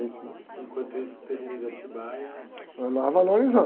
Enquanto isso, o terreno de Atibaia...á valorizando.